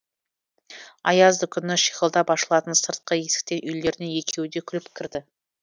аязды күні шиқылдап ашылатын сыртқы есіктен үйлеріне екеуі де күліп кірді